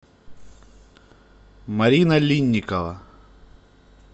марина линникова